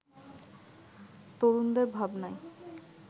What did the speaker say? তরুণদের ভাবনায়